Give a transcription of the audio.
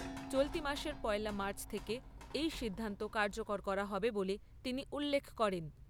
চলতি মাসের পয়লা মার্চ থেকে এই সিদ্ধান্ত কার্যকর করা হবে বলে তিনি উল্লেখ করেন।